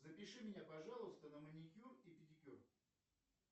запиши меня пожалуйста на маникюр и педикюр